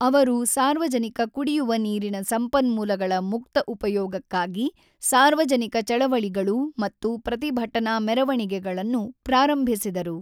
ಅವರು ಸಾರ್ವಜನಿಕ ಕುಡಿಯುವ ನೀರಿನ ಸಂಪನ್ಮೂಲಗಳ ಮುಕ್ತ ಉಪಯೋಗಕ್ಕಾಗಿ ಸಾರ್ವಜನಿಕ ಚಳವಳಿಗಳು ಮತ್ತು ಪ್ರತಿಭಟನಾ ಮೆರವಣಿಗೆಗಳನ್ನು ಪ್ರಾರಂಭಿಸಿದರು.